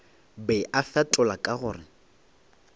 be a fetola ka gore